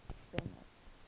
bennet